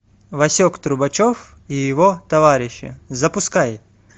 васек трубачев и его товарищи запускай